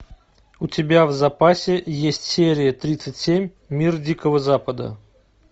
у тебя в запасе есть серия тридцать семь мир дикого запада